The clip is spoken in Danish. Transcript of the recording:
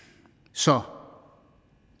så